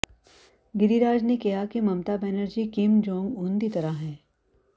ਗਿਰੀਰਾਜ ਨੇ ਕਿਹਾ ਕਿ Mamata Banerjee Kim Jong Un ਦੀ ਤਰ੍ਹਾਂ ਹੈ